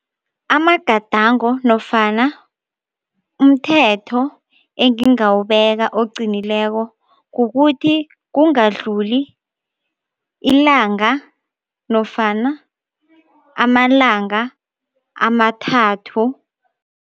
Amagadango nofana umthetho engingawubeka oqinileko kukuthi kungadluli ilanga nofana amalanga amathathu.